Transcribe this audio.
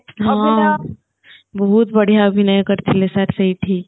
ହଁ ବହୁତ ବଢିଆ ଅଭିନୟ କରିଥିଲେ sir ସେଈଠି